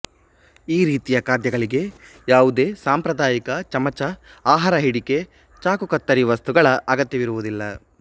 ಈ ರೀತಿಯ ಖಾದ್ಯಗಳಿಗೆ ಯಾವುದೇ ಸಾಂಪ್ರದಾಯಿಕ ಚಮಚಆಹಾರ ಹಿಡಿಕೆ ಚಾಕುಕತ್ತರಿ ವಸ್ತುಗಳ ಅಗತ್ಯವಿರುವುದಿಲ್ಲ